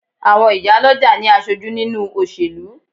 Àwọn ìyá lọ́jà ní aṣojú nínúu òṣèlú